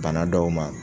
Bana dɔw ma